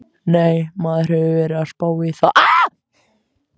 Nei, maður hefur verið að spá í það.